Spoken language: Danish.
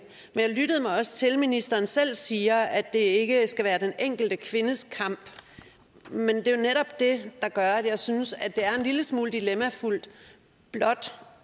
men jeg lyttede mig også til at ministeren selv siger at det ikke skal være den enkelte kvindes kamp men det er netop det der gør at jeg synes at det er en lille smule dilemmafuldt blot